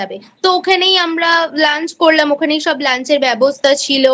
তো ওখানেই আমরা Lunch করলামওখানেই সব lunch এর ব্যবস্থা ছিল।